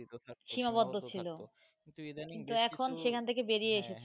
সীমাবদ্ধ ছিল, কিন্তু এখন সেখান থেকে বেরিয়ে এসেছে